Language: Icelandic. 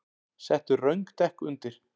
Settu röng dekk undir